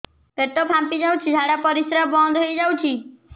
ପେଟ ଫାମ୍ପି ଯାଉଛି ଝାଡା ପରିଶ୍ରା ବନ୍ଦ ହେଇ ଯାଉଛି